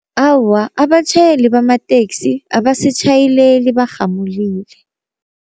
Awa abatjhayeli bamateksi abasitjhayeleli barhamulile.